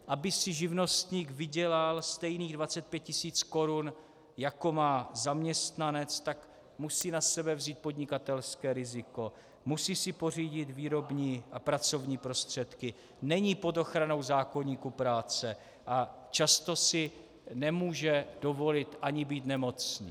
Aby si živnostník vydělal stejných 25 tisíc korun, jako má zaměstnanec, tak musí na sebe vzít podnikatelské riziko, musí si pořídit výrobní a pracovní prostředky, není pod ochranou zákoníku práce a často si nemůže dovolit ani být nemocný.